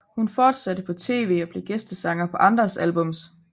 Hun fortsatte på tv og blev gæstesanger på andres albums